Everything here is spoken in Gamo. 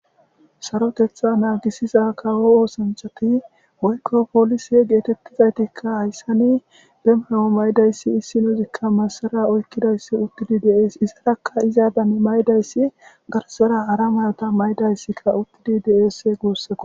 Sarotetha naagisiza kawo oosanchati woykko poolise geetettizaytikka hayssani be mayo maydayssi issinozikka massara oykkidayssi uttidi deees izarakka izaadan maydayssi garsara hara mayota maydayssikka uttidi deese guusseko.